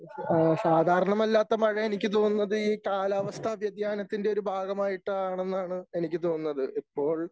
ആ സാധാരണമല്ലാത്ത മഴ എനിക്ക് തോന്നുന്നത് ഈ കാലാവസ്ഥ വൃതിയാനത്തിൻ്റെ ഒരു ഭാഗമായിട്ടാണന്നാണ് എനിക്ക് തോന്നുന്നത്. ഇപ്പോൾ